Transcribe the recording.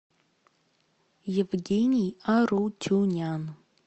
евгений аручунян